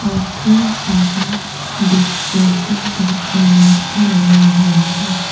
और ढेर सारा डेकोरेशन करके लाइट भी लगा हुआ है।